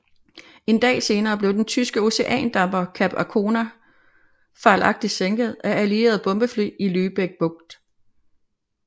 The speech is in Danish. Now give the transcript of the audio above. En dag senere blev den tyske oceandamper Cap Arcona fejlagtigt sænket af allierede bombefly i Lübeck Bugt